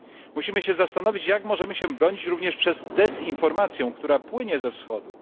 Musimy się zastanowić, jak możemy się bronić również przed dezinformacją, która płynie ze Wschodu.